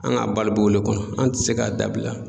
An ka balo b'o le kɔnɔ an tɛ se k'a dabila.